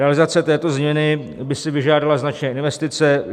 Realizace této změny by si vyžádala značné investice.